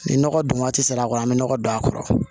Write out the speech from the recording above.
Ni nɔgɔ dun waati sera a kɔnɔ an mi nɔgɔ don a kɔrɔ